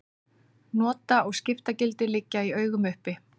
Nota- og skiptagildi liggja í augum uppi.